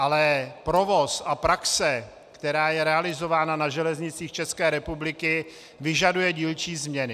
Ale provoz a praxe, která je realizována na železnicích České republiky, vyžaduje dílčí změny.